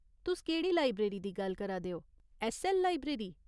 तुस केह्ड़ी लाइब्रेरी दी गल्ल करा दे ओ, ऐस्सऐल्ल लाइब्रेरी ?